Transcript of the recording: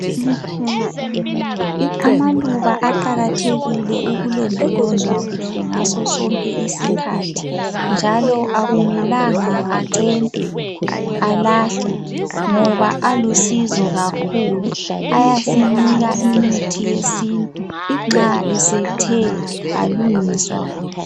Amaluba aqakathekile ukulondolozwa kuhle ngasosonke isikhathi njalo akumelanga acentwe, alahlwe ngoba alusizo kakhulu ayasinika imithi yesintu nxa esethe alungiswa kuhle.